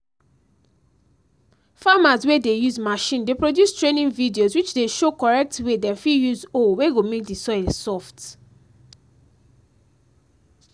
farmers wey dey use machine dey produce training videos which dey show correct way dem fit use hoe wey go make the soil soft